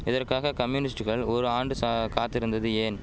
இதற்காக கம்யூனிஸ்ட்டுகள் ஓர் ஆண்டு ஷா காத்திருந்தது ஏன்